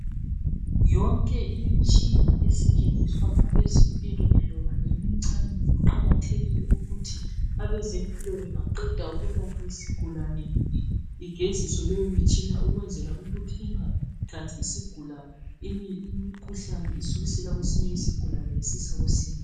Yonke imitshina esetshenziswa ngabe ezempilo loba omncane kuqakathekile ukuthi abezempilo bangaqeda ukwelapha isigulane igeziswe le mitshina ukwenzela ingathathi umkhuhlane kwesinye isigulane isisa kwesinye.